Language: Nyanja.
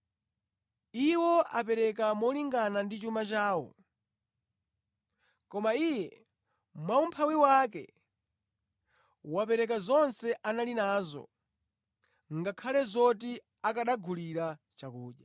Iwo apereka molingana ndi chuma chawo; koma iye, mwaumphawi wake, wapereka zonse anali nazo ngakhale zoti akanagulira chakudya.”